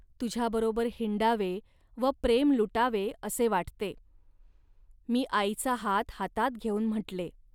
तुझ्याबरोबर हिंडावे व प्रेम लुटावे, असे वाटते. मी आईचा हात हातात घेऊन म्हटले